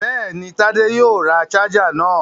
Bẹ́ẹ̀ni, Tádé yóò ra ṣáájà náà.